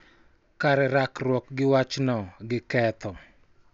Kar rakruok gi wachno gi ketho.